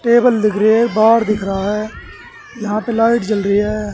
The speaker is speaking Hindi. टेबल दिख रहा है बार दिख रहा है यहां पे लाइट जल रही है।